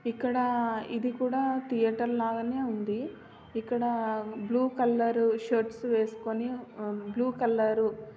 ఇక్కడా ఇది కోడా ధియేటర్ లాగానే ఉంది. ఇక్కడా బ్లూ కలర్ షర్ట్స్ వేసుకొని బ్లూ కలర్ --